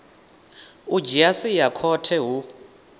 u dzhia sia khothe hu